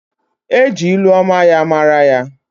E ji ilu ọma ya mara ya.